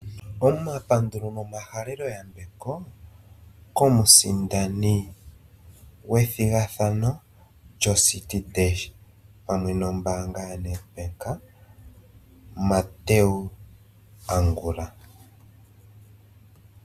Omapandulo nomahalelo yambeko komusindani gwethigathano lyociti dash pamwe nombanga yaNedbank Mathew Angula.